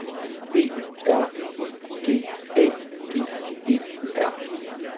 B R I G A D E R